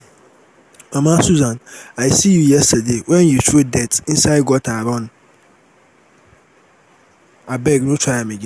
mama susan i see you yesterday wen you throw dirt inside gutter run abeg no try am again